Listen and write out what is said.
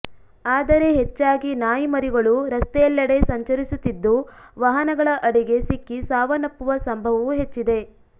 ಆದರೆ ಹೆಚ್ಚಾಗಿ ನಾಯಿಮರಿಗಳು ರಸ್ತೆಯೆಲ್ಲೆಡೆ ಸಂಚರಿಸುತ್ತಿದ್ದು ವಾಹನಗಳ ಅಡಿಗೆ ಸಿಕ್ಕಿ ಸಾವನ್ನಪ್ಪುವ ಸಂಭವವೂ ಹೆಚ್ಚಿದೆ